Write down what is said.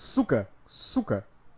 сука сука